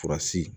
Furasi